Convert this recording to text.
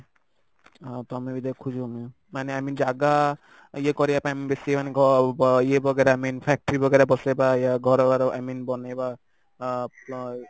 ଆଉ ତମେ ବି ଦେଖୁଛ ମାନେ i mean ଜାଗା ଇଏ କରିବା ପାଇଁ ବେଶୀ ମାନେ ଗ ଇଏ वगेरा i mean factory वगेरा ବସେଇବା ୟା ଘର ଘର i mean ବନେଇବା ଆ